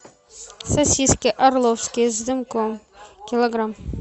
сосиски орловские с дымком килограмм